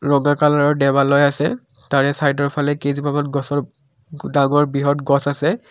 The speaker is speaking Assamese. বগা কালাৰৰ দেওৱালয় আছে তাৰে চাইডৰ ফালে কেইজোপামান গছৰ ডাঙৰ বৃহৎ গছ আছে।